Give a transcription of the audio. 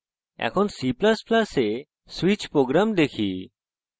এখন c ++ এ switch program দেখি